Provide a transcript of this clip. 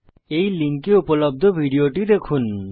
এই লিঙ্কে উপলব্ধ ভিডিও টি দেখুন